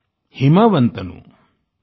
पैन्निदा जनकरायनु जसुवलीदनू